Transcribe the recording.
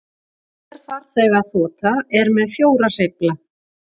Hver farþegaþota er með fjóra hreyfla